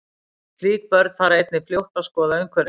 Slík börn fara einnig fljótt að skoða umhverfi sitt.